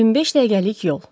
25 dəqiqəlik yol.